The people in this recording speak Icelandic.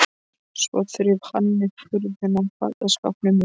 Svo þreif hann upp hurðina á fataskápnum mínum.